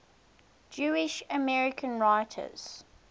jewish american writers